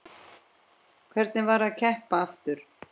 Hvernig var að keppa aftur?